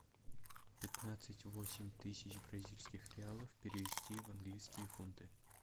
пятнадцать восемь тысяч бразильских реалов перевести в английские фунты